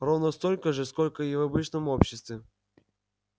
ровно столько же сколько и в обычном обществе